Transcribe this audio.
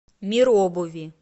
мир обуви